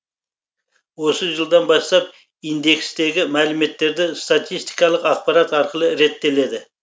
осы жылдан бастап индекстегі мәліметтерді статистикалық ақпарат арқылы реттеледі